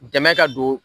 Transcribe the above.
Dɛmɛ ka don